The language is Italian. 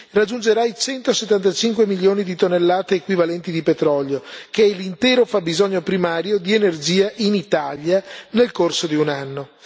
raggiungerà i 175 milioni di tonnellate equivalenti di petrolio, pari all'intero fabbisogno primario di energia in Italia nel corso di un anno.